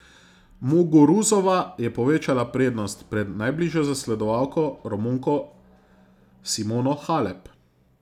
Muguruzova je povečala prednost pred najbližjo zasledovalko, Romunko Simono Halep.